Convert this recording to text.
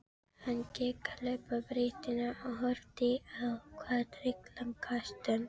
Hann gekk að hlaupabrettinu og horfði á það drykklanga stund.